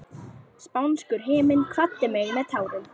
Spánskur himinn kvaddi mig með tárum.